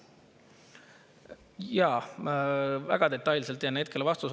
Jaa, väga detailse vastuse jään hetkel võlgu.